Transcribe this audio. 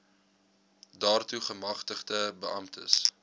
daartoe gemagtigde beamptes